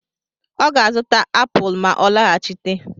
Ọ ga-azụta apụl ma ọ lọghachite.